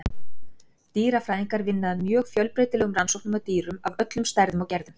Dýrafræðingar vinna að mjög fjölbreytilegum rannsóknum á dýrum af öllum stærðum og gerðum.